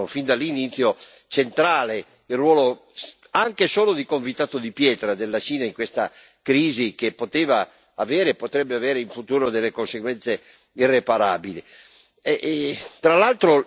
tutti gli osservatori ritengono, fin dall'inizio, centrale il ruolo, anche solo di convitato di pietra, della Cina in questa crisi, che poteva avere e potrebbe avere in futuro delle conseguenze irreparabili.